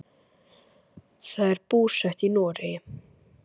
Þau eru búsett í Noregi.